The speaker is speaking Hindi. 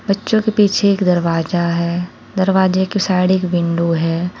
बच्चों के पीछे एक दरवाजा है दरवाजे की साइड एक विंडो है।